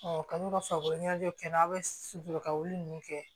kalo saba kɛ n'a bɛ surun ka wuli ninnu kɛ